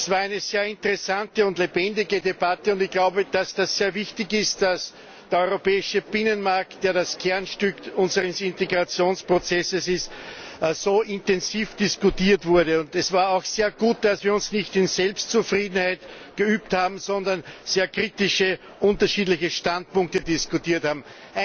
Es war eine sehr interessante und lebendige Debatte. Ich glaube, dass es sehr wichtig ist, dass der europäische Binnenmarkt, der das Kernstück unseres Integrationsprozesses ist, so intensiv diskutiert wurde. Es war auch sehr gut, dass wir uns nicht in Selbstzufriedenheit geübt haben, sondern sehr kritische unterschiedliche Standpunkte diskutiert haben.